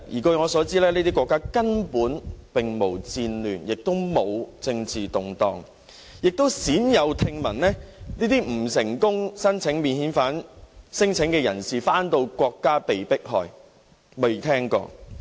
據我所知，這些國家根本並無戰亂，亦非政治動盪，我亦鮮有聽聞未能成功申請免遣返的聲請人士在返回祖國後被迫害。